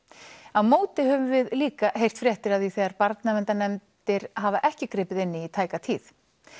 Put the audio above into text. á móti höfum líka heyrt fréttir af því þegar barnaverndarnefndir hafa ekki gripið inn í í tæka tíð